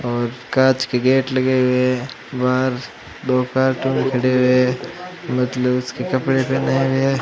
और कांच के गेट लगे हुए है बाहर दो कार्टून खडे हुए है के कपड़े पहने हुए है।